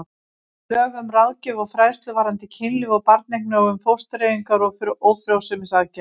Lög um ráðgjöf og fræðslu varðandi kynlíf og barneignir og um fóstureyðingar og ófrjósemisaðgerðir.